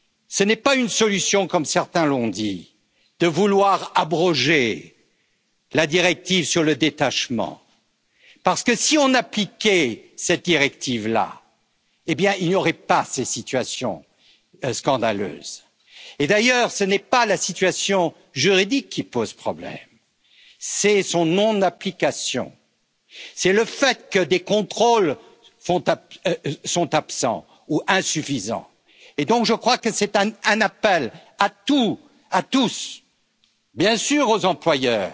Ce n'est pas une solution, comme certains l'ont dit, de vouloir abroger la directive sur le détachement, parce que, si on appliquait cette directive là, eh bien il n'y aurait pas ces situations scandaleuses. Et d'ailleurs, ce n'est pas la situation juridique qui pose problème, c'est sa non application. C'est le fait que des contrôles sont absents ou insuffisants. Donc, je crois que c'est un appel à tous, bien sûr aux employeurs,